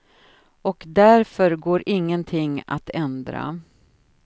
Och därför går ingenting att ändra.